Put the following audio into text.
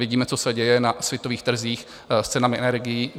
Vidíme, co se děje na světových trzích s cenami energií.